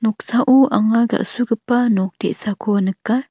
noksao anga ga·sugipa nok te·sako nika.